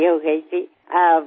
మీరు ఎప్పుడు తిరిగివస్తారు